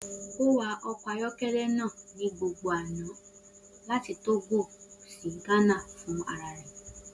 O wa ọkọ ayọkẹlẹ naa ni gbogbo ọna lati Togo si Ghana ni ana funrararẹ.